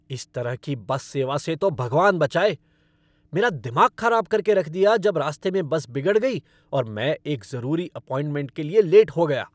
इस तरह की बस सेवा से तो भगवान बचाए! मेरा दिमाग खराब कर के रख दिया जब रास्ते में बस बिगड़ गई और मैं एक जरूरी अपॉइंटमेंट के लिए लेट हो गया।